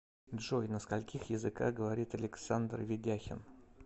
джой на скольких языках говорит александр ведяхин